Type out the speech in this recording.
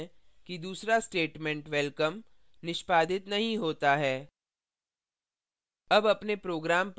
हम देखते हैं कि दूसरा statement welcome निष्पादित नहीं होता है